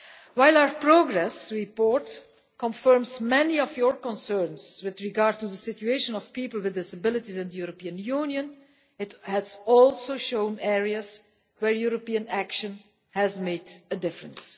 While our progress report confirms many of your concerns with regard to the situation of people with disabilities in the European Union, it has also shown areas where European action has made a difference.